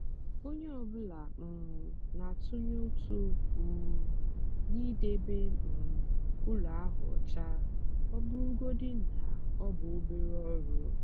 onye ọ bụla um na-atụnye ụtụ um n'idebe um ụlọ ahụ ọcha ọ bụrụgodị na ọ bụ obere ọrụ.